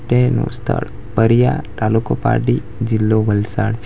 તેનો વિસ્તાર પરીયા તાલુકો પારડી જીલ્લો વલસાડ છે.